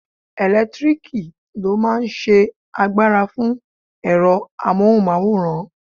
Ẹlẹtíríkì ló máa n ṣe agbára fún ẹ̀rọ amóhùnmáwòrán